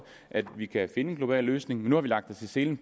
at vi kan finde en global løsning nu har vi lagt os i selen